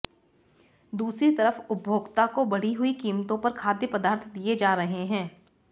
दूसरी तरफ उपभोक्ता को बढ़ी हुई कीमतों पर खाद्य पदार्थ दिए जा रहे हैं